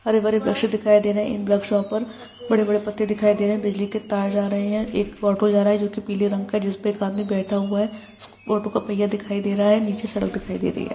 हरे भरे बकक्षे दिखाई दे रहै है इन बकक्षों पर बड़े बड़े पत्ते दिखाई दे रहै हैं बिजली की तार जा रहै हैं एक ऑटो जा रहा है जो के पीले रंग का है जिसपे एक आदमी बैठा हुआ है ऑटो का पहिया दिखाई दे रहा है नीचे सड़क दिखाई दे रही है।